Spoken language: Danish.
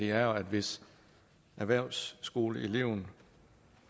er jo at hvis erhvervsskoleeleven